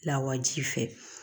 Lawaji fɛ